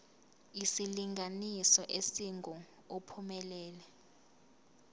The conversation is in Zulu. isilinganiso esingu uphumelele